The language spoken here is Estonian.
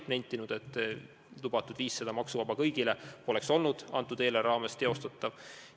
Ta on nentinud, et lubatud 500 eurot maksuvaba tulu kõigile poleks olnud selle eelarve korral teostatav.